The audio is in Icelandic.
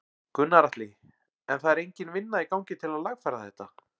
Gunnar Atli: En það er engin vinna í gangi til að lagfæra þetta?